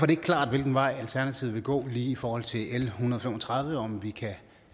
det ikke klart hvilken vej alternativet vil gå i forhold til l en hundrede og fem og tredive om vi kan